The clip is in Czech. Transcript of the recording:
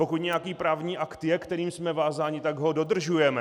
Pokud nějaký právní akt je, kterým jsme vázáni, tak ho dodržujeme.